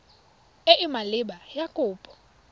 e e maleba ya kopo